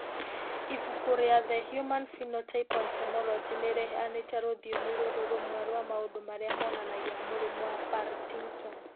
Ibuku rĩa The Human Phenotype Ontology nĩ rĩheanĩte rũthiomi rũrũ rũmwe rwa maũndũ marĩa maronania mũrimũ wa Partington.